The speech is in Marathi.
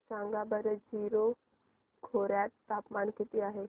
सांगा बरं जीरो खोर्यात तापमान किती आहे